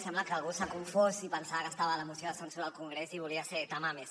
sembla que algú s’ha confós i pensava que estava a la moció de censura al congrés i volia ser tamames